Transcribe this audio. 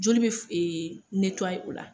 Joli be f o la.